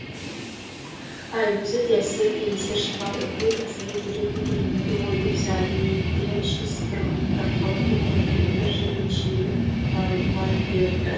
әй өзі де эсер десе есер шығар ылғи қисайып жүретін көрінеді ғой деп сәбиден ши сыпырғының тарқатылып кеткен кендір жібін шиелеп байлай берді